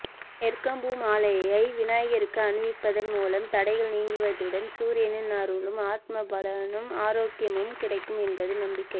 எருக்கம்பூ மாலையை விநாயகருக்கு அணிவிப்பதன் மூலம் தடைகள் நீங்குவதுடன் சூரியனின் அருளும் ஆத்ம பலனும் ஆரோக்கியமும் கிடைக்கும் என்பது நம்பிக்கை